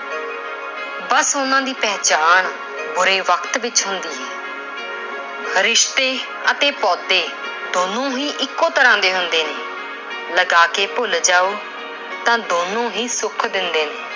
ਬਸ ਉਹਨਾਂ ਦੀ ਪਹਿਚਾਣ ਬੁਰੇ ਵਕਤ ਵਿੱਚ ਹੁੰਦੀ ਹੈ। ਰਿਸ਼ਤੇ ਅਤੇ ਪੌਦੇ ਦੋਨੋਂ ਹੀ ਇੱਕੋ ਤਰ੍ਹਾਂ ਦੇ ਹੁੰਦੇ ਨੇ। ਲਗਾ ਕੇ ਭੁੱਲ ਜਾਓ ਤਾਂ ਦੋਨੋਂ ਹੀ ਸੁੱਖ ਦਿੰਦੇ ਨੇ।